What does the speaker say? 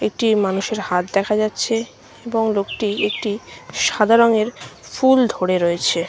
একটি মানুষের হাত দেখা যাচ্ছে এবং লোকটি একটি সাদা রংয়ের ফুল ধরে রয়েছে।